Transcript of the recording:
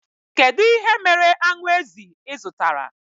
Kedụ ihe mere aṅụ ezi ịzụtara?